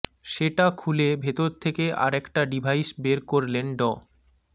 সেটা খুলে ভেতর থেকে আরেকটা ডিভাইস বের করলেন ড